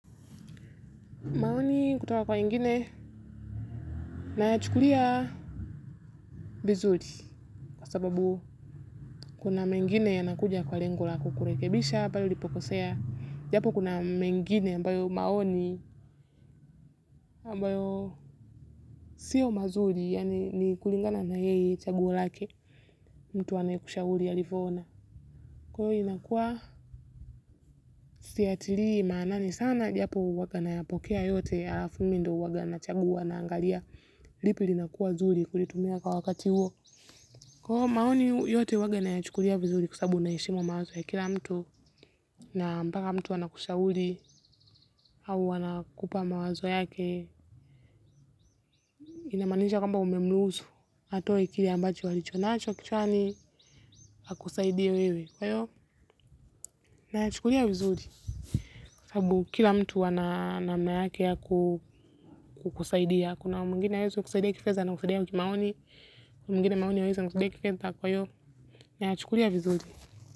Maoni kutoka kwa wengine nayachukulia vizuri kwa sababu kuna mengine yanakuja kwa lengo la kukurekebisha pale ulipo kosea. Japo kuna mengine ambayo maoni ambayo siyo mazuri yani ni kulingana na yeye chaguo lake mtu anayekushauri alivyoona. Kwa hiyo inakuwa siyatilii maanani sana japo huwanga nayapokea yote halafu mimi ndiye huwanga nachagua naangalia lipi linakuwa nzuri kulitumia kwa wakati huo. Kwao maoni yote huwanga nayachukulia vizuri kwasababu naheshimu mawazo ya kila mtu na mpaka mtu anakushahuri au anakupa mawazo yake inamanisha kwamba umemruhusu atowe kile ambacho alicho naacho kichwani akusaidie wewe kwayo nayachukulia vizuri kwa sababu kila mtu ana namna yake ya kukusaidia kuna mwngine haweziu kusaidia kifedha anakusaidia kimaoni kuna mwingine maoni hawezi anakusaidia kifedha kwa hiyo nayachukulia vizuri.